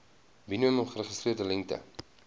minimum geregistreerde lengte